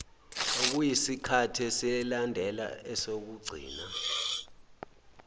okuyisikhathi esilandela esokugcina